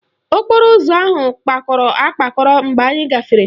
Okporo ụzọ ahụ kpakọrọ akpakọ mgbe anyị gafere